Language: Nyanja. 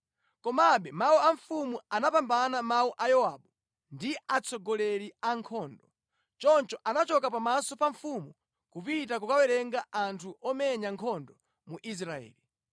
Komabe mawu a mfumu anapambana mawu a Yowabu ndi atsogoleri a ankhondo. Choncho anachoka pamaso pa mfumu kupita kukawerenga anthu omenya nkhondo mu Israeli.